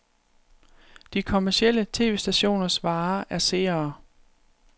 De kommercielle tv-stationers vare er seere.